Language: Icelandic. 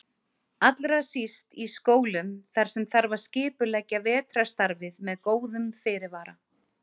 Allra síst í skólum þar sem þarf að skipuleggja vetrarstarfið með góðum fyrirvara.